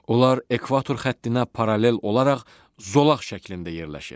Onlar ekvator xəttinə paralel olaraq zolaq şəklində yerləşir.